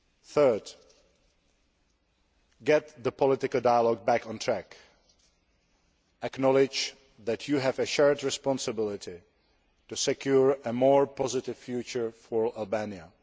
Third, get the political dialogue back on track acknowledge that you have a shared responsibility to secure a more positive future for Albania.